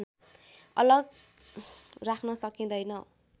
अलग राख्न सकिँदैन